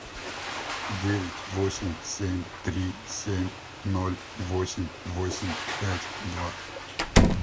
девять восемь семь три семь ноль восемь восемь пять два